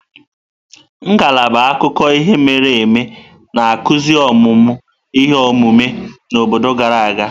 Ngalaba akụkọ ihe mere eme na-akụzi ọmụmụ ihe omume na obodo gara aga.